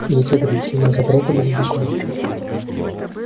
и эти ограничения и запреты были законом